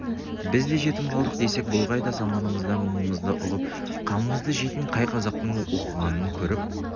біз де жетім қалдық десек болғай да заманымызда мұңымызды ұғып қамымызды жейтін қай қазақтың оқығанын көріп